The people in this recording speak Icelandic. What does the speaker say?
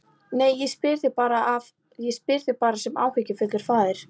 Nei, ég spyr þig bara sem áhyggjufullur faðir.